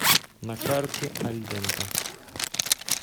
на карте альдента